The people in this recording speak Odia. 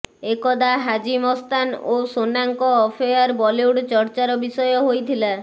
ଏକଦା ହାଜି ମସ୍ତାନ ଓ ସୋନାଙ୍କ ଆଫେଆର୍ ବଲିଉଡ ଚର୍ଚ୍ଚାର ବିଷୟ ହୋଇଥିଲା